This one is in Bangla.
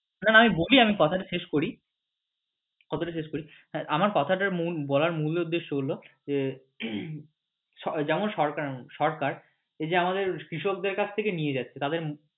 না না আমি বলি আমি কথা টা শেষ করি কথা টা শেষ করি কথা টা বলার মূল উদ্দেশ্য হচ্ছে যে যেমন সরকার এই যে আমাদের কৃষক দের কাছ থেকে নিয়ে যাচ্ছে তাদের